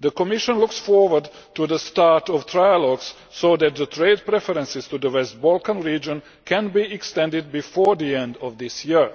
The Commission looks forward to the start of trilogues so that the trade preferences to the Western Balkan region can be extended before the end of this year.